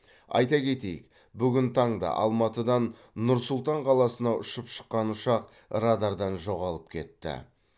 айта кетейік бүгін таңда алматыдан нұр сұлтан қаласына ұшып шыққан ұшақ радардан жоғалып кетті